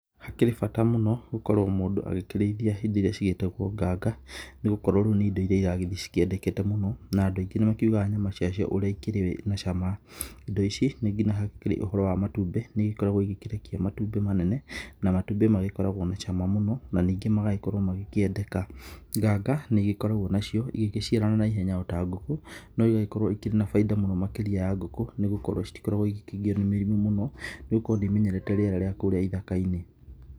Hakĩrĩ bata mũno gũkorwo mũndũ agĩkĩrĩithia indo irĩa cigĩtagwo nganga nĩgũkorwo rĩu nĩ indo irĩa iragĩthiĩ cikĩendekete mũno na andũ aingĩ nĩ makĩugaga nyama ciacio ũrĩa ikĩrĩ na cama indo ici nginya hakĩrĩ ũhoro wa matumbĩ nĩ igĩkoragwo igĩkĩrekia matumbĩ manene na matumbĩ magĩkoragwo na cama mũno na ningĩ magagĩkorwo magĩkĩendeka, nganga nĩ igĩkoragwo nacio igĩciarana na ihenya ta ngũkũ no igagĩkorwo irĩ na baita mũno makĩrĩa ya ngũkũ nĩ gũkorwo citigĩkoragwo ikĩgio nĩ mĩrimũ mũno nĩ gũkorwo nĩ imenyerete rĩera rĩa kũrĩa ithaka-inĩ.